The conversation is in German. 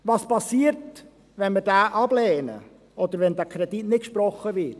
Was passiert, wenn wir diesen ablehnen, oder wenn der Kredit nicht gesprochen wird?